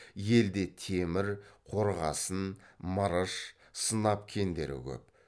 елде темір қорғасын мырыш сынап кендері көп